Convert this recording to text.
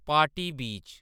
party बीच